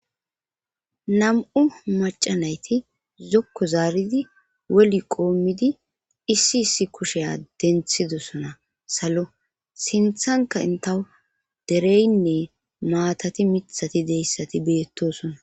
Nam7u macanayti zokko zaaridi woli qoomidi issi issi kusheya denthidosona salo sinthanka intaw dereynne maatati mithati deyssati beettosona.